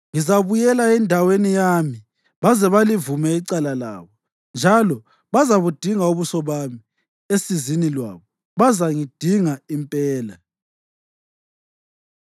Ngizabuyela endaweni yami baze balivume icala labo. Njalo bazabudinga ubuso bami; esizini lwabo bazangidinga impela.”